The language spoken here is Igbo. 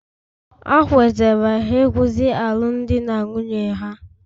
Ha kwetara ịkwụsị alụmdi na nwunye ha